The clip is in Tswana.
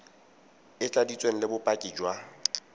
e tladitsweng le bopaki jwa